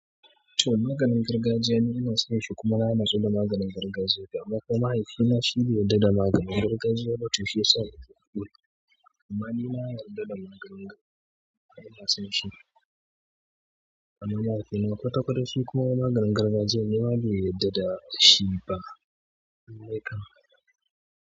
To maganin gargajiya ni ina san shi kuma ba na so da maganin gargajiya amma mahaifina shi bai yarda da maganin gargajiya ba to shiyasa nake amma ni na yarda da maganin gargajiya, na san shi. Amma mahaifina ƙwataƙwata shi kuma maganin gargajiya ne ma bai yarda da shi ba.